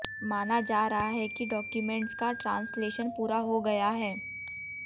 माना जा रहा है कि डॉक्युमेंट्स का ट्रांसलेशन पूरा हो गया है